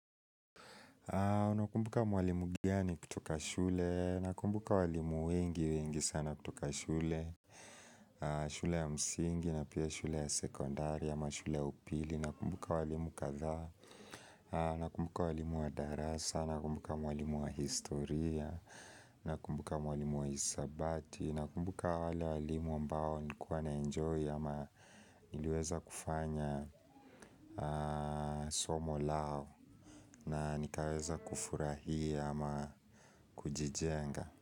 Nakumbuka mwalimu mgani kutoka shule, nakumbuka walimu wengi wengi sana kutoka shule, shule ya msingi na pia shule ya sekondari ama shule ya upili, nakumbuka walimu katha, nakumbuka mwalimu wa darasa, nakumbuka mwalimu wa historia, nakumbuka mwalimu wa hisabati, nakumbuka wale walimu ambao nilikuwa naenjoy ama niliweza kufanya somo lao na nikaweza kufurahia ama kujijenga.